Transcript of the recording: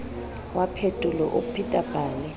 wa phetelo o pheta pale